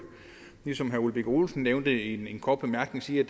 ligesom herre ole birk olesen nævnte i en kort bemærkning sige at